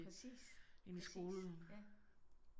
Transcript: Præcis præcis ja